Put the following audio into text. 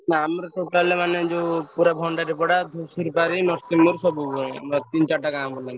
ନା ଆମର total ମାନେ ଯଉ ପୁରା ଭଣ୍ଡାରି ପଡା, ଧୂସୁରୀ ପାରି ତିନି ଚାରି ଟା ଗାଁ ବୁଲନ୍ତି।